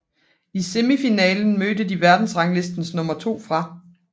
I semifinalen mødte de verdensranglistens nummer 2 fra